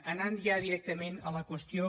anant ja directament a la qüestió